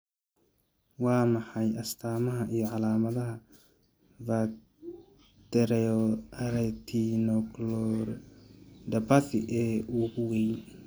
Waa maxay astamaha iyo calaamadaha Vitreoretinochoroidopathy ee ugu weyn?